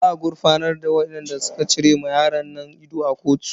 Za a gurfanar da wadan ya cire ma yaron ido a kotu.